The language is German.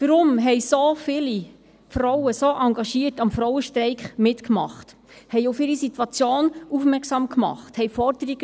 Warum machten so viele Frauen so engagiert am Frauenstreik mit, machten auf ihre Situation aufmerksam, stellten Forderungen?